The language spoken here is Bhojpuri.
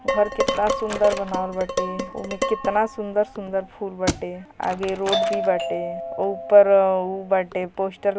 घर कितना सुन्दर बनावल बाटेओमे कितना सुन्दर - सुन्दर बाटे आगे रोड भी बाटे ऊपर उ बाटे पोस्टर --